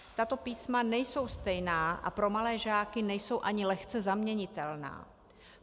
Tato písma nejsou stejná a pro malé žáky nejsou ani lehce zaměnitelná.